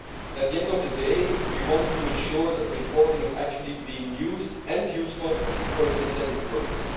At the end of the day, we wanted to ensure that the reporting is actually being used and is useful for its intended purpose.